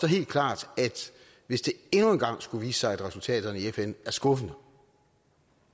helt klart at hvis det endnu en gang skulle vise sig at resultaterne i fn er skuffende